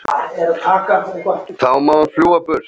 Þá má hún fljúga burtu.